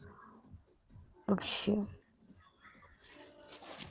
вообще